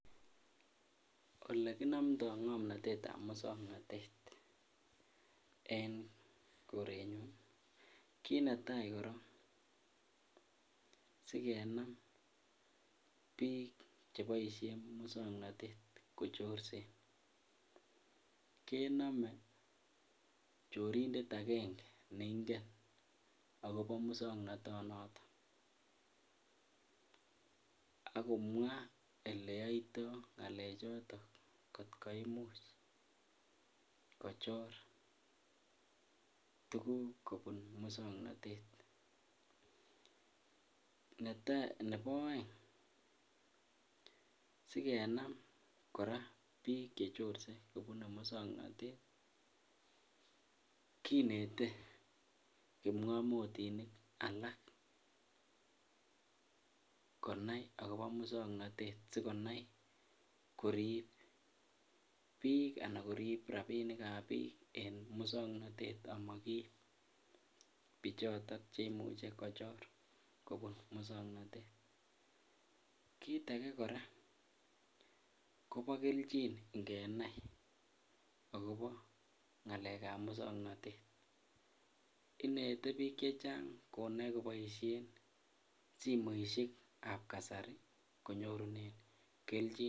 Olekinomto ng'omnotet ab musong'notet en korenyun, kiit netai korong sikenam biik cheboisien musong'notet kochorsen, kenome chorindet agenge neing'en akobo musong'notonoton akomwa oleyoito ng'alechoton kot koimuch kochor tuguk kobun musong'notet, nebo oeng sikenam kora biik chechorse kobune musong'notet kinetee kipng'omotinik alak konai akobo musong'notet sikonai koriib biik anan koriib rabinik ab biik en musong'notet amakiib bichoton cheimuche kochor kobun musong'notet, kiit age kora kobo keljin ingenai akobo ng'alek ab musong'notet, inete biik chechang' konai koboisien simoisiek ab kasari konyorunen keljin.